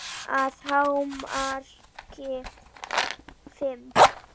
Að hámarki fimm.